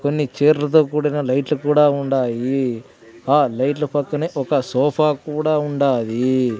కొన్ని చీర్లల్తో కూడిన లైట్లు కూడా ఉండాయి ఆ లైట్ల పక్కనే ఒక సోఫా కూడా ఉండాది.